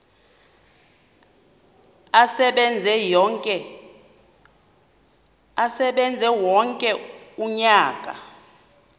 asebenze wonke umnyaka